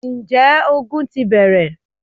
Ǹjẹ́ ogun ti bẹ̀rẹ̀?